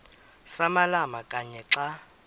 samalama kanye xa